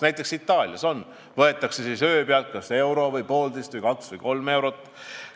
Näiteks, Itaalias võetakse öö pealt kas euro või poolteist või kaks või kolm eurot.